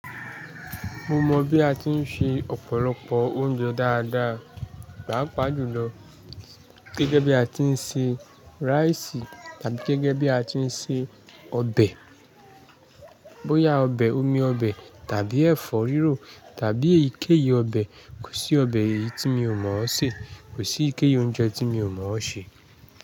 Mo mọ̀ bí a ti ń se ọ̀pọ̀lọpọ̀ oúnjẹ dáadáa, pàápàá jùlọ gẹ́gẹ́ bí a ti ń se rice tàbí gẹ́gẹ́ bí a ti ń se ọbẹ̀, bóyá ọbẹ̀ omi ọbẹ̀ tàbí ẹ̀fọ́ rírò tàbí ìkéyìí ọbẹ̀. Kò sí ọbẹ̀ èyí tí mi ò mọ̀ ọ́ sè, kò sí ìkéyìí oúnjẹ tí mi ò mọ̀ sè.